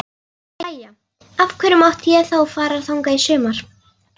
Jæja, af hverju mátti ég þá fara þangað í sumar?